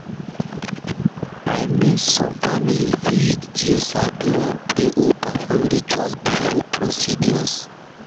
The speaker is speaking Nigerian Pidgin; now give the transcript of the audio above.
i mean some families fit you sabi wan pray or perform rituals before procedures.